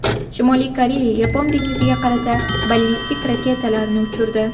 Shimoliy Koreya Yapon dengiziga qarata ballistik raketalarni uchirdi.